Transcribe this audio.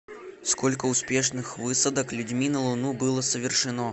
сколько успешных высадок людьми на луну было совершено